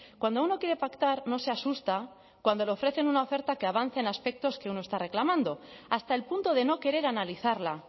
cuando uno quiere pactar no se asusta cuando le ofrecen una oferta que avanza en aspectos que uno está reclamando hasta el punto de no querer analizarla